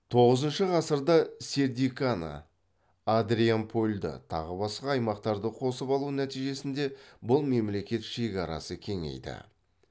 тоғызыншы ғасырда сердиканы адрианопольді тағы басқа аймақтарды қосып алу нәтижесінде бұл мемлекет шекарасы кеңейді